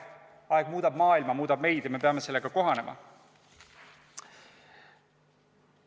Aeg muudab maailma, muudab meid ja me peame sellega kohanema.